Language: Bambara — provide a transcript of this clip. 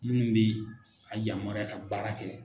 Minnu bɛ a yamaruya ka baara kɛ